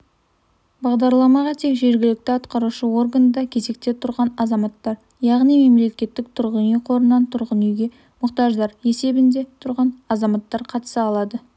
бағдарламаға тек жергілікті атқарушы органда кезекте тұрған азаматтар яғни мемлекеттік тұрғын үй қорынан тұрғын үйге мұқтаждар есебінде тұрған азаматтар қатыса алады